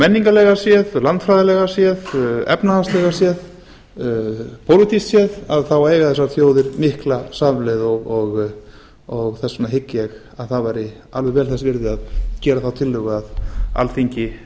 menningarlega séð landfræðilega séð efnahagslega séð og pólitískt séð eiga þessar þjóðir mikla samleið og þess vegna hygg ég að það væri alveg vel þess virði að gera þá tillögu að alþingi